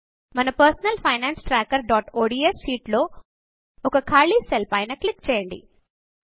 మన personal finance trackerఒడిఎస్ sheet లో ఒక ఖాళీ సెల్ పైన క్లిక్ చేయండి